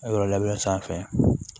Yɔrɔ labɛn san fɛ